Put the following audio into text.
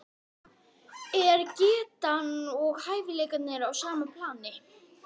Það gleddi mig, ef þú þæðir hana